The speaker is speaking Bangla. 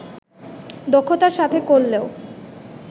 দক্ষতার সাথে করলেও